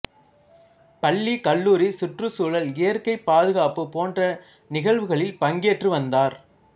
பள்ளி கல்லூரி சுற்றுச்சூழல் இயற்கைபாதுகாப்பு போன்ற நிகழ்வுகளில் பங்கேற்று வந்தார்